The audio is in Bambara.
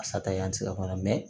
A sata in an ti se ka kum'a la